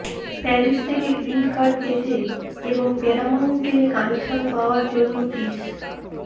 Paris থেকে green card পেতে এবং প্যারামাউন্টে কানেকশন পাওয়ার জন্য পিস